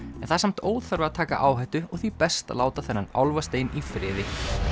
það er samt óþarfi að taka áhættu og því best að láta þennan álfastein í friði